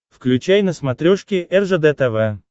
включай на смотрешке ржд тв